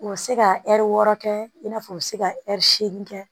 U bɛ se ka ɛri wɔɔrɔ kɛ i n'a fɔ u bɛ se ka ɛri seegin kɛ